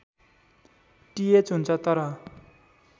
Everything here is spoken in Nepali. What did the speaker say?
टिएच हुन्छ तर